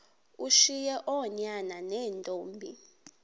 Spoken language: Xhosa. ushiye oonyana neentombi